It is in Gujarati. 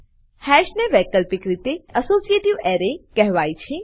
હાશ ને વૈકલ્પિક રીતે એસોસિએટિવ અરે કહેવાય છે